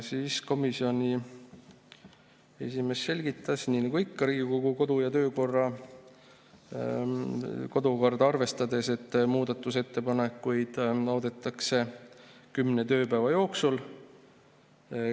Siis komisjoni esimees selgitas, nii nagu ikka, Riigikogu kodu‑ ja töökorda arvestades, et muudatusettepanekuid loodetakse kümne tööpäeva jooksul.